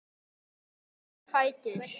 Auka fætur.